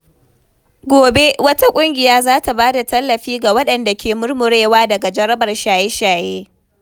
Gobe, wata ƙungiya za ta ba da tallafi ga waɗanda ke murmurewa daga jarabar shaye-shaye.